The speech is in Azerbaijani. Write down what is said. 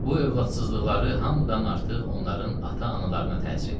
Bu övladsızlıqları hamıdan artıq onların ata-analarına təsir eləyirdi.